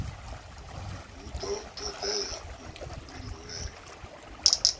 hu do todea u pindulela